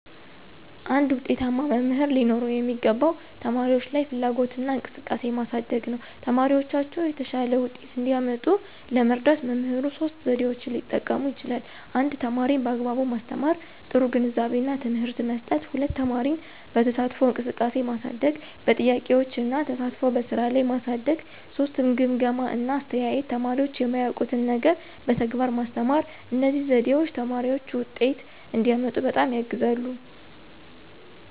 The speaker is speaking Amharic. አንድ ዉጤታማ መምህር ሊኖረው የሚገባው ተማሪዎች ላይ ፍላጎትና እንቅስቃሴ ማሳደግ ነው። ተማሪዎቻቸው የተሻለ ውጤት እንዲያመጡ ለመርዳት መምህሩ ሶስት ዘዴዎችን ሊጠቀም ይችላል 1) ተማሪን በአግባቡ ማስተማር – ጥሩ ግንዛቤና ትምህርት መስጠት፣ 2) ተማሪን በተሳትፎ እንቅስቃሴ ማሳደግ – በጥያቄዎች እና ተሳትፎ በስራ ላይ ማሳደግ፣ 3) ግምገማ እና አስተያየት – ተማሪዎች የማያውቁትን ነገር በተግባር ማስተማር። እነዚህ ዘዴዎች ተማሪዎች ውጤት እንዲያመጡ በጣም ያግዛሉ።